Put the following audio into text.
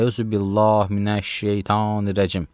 Əuzubillah minəş şeytanirracim.